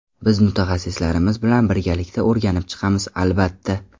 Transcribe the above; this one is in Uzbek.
Biz mutaxassislarimiz bilan birgalikda o‘rganib chiqamiz, albatta.